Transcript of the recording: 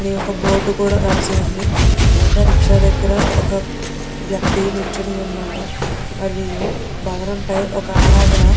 అని ఒక బోర్డ్ కూడా రాశివుంది బయట రిక్షా దగ్గర ఒక వ్యక్తి నుంచొని ఉన్నారు మరియు భవనంపై ఒక ఆడావిడా --